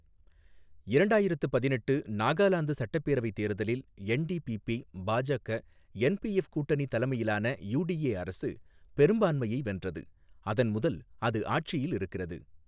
இரண்டாயிரத்து பதினெட்டு நாகாலாந்து சட்டப்பேரவைத் தேர்தலில் என்டிபிபி, பாஜக, என்பிஎஃப் கூட்டணி தலைமையிலான யுடிஏ அரசு பெரும்பான்மையை வென்றது, அதன் முதல் அது ஆட்சியில் இருக்கிறது.